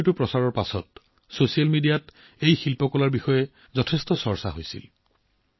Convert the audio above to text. এই খবৰটো চৰ্চালৈ অহাৰ পিছত ছচিয়েল মিডিয়াত এই শিল্পকৰ্মক লৈ যথেষ্ট চৰ্চা চলিছিল